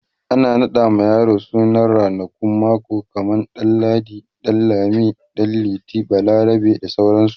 akan raɗa ma yaro sunan ranakun mako kaman ɗan ladi, ɗan lami, ɗan liti, balarabe, bda sauransu